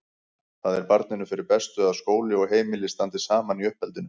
Það er barninu fyrir bestu að skóli og heimili standi saman í uppeldinu.